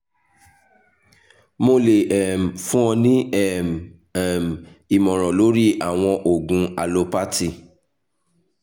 mo le um fun ọ ni um um imọran lori awọn oogun alopathy